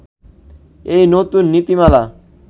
এই নতুন নীতিমালা